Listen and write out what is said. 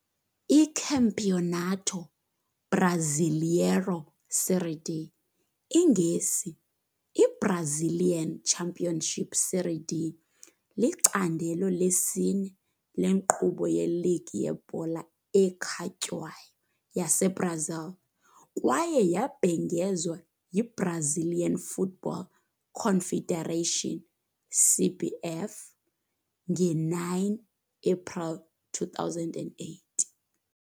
ICampeonato Brasileiro Série D, iNgesi- I-Brazilian Championship SerieD, licandelo lesine lenkqubo yeligi yebhola ekhatywayo yaseBrazil, kwaye yabhengezwa yiBrazilian Football Confederation, CBF, nge-9 April 2008.